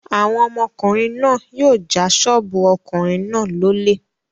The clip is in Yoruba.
Àwọn ọmọkùnrin náà yóò ja ṣọ́ọ́bù ọkùnrin náà lólè.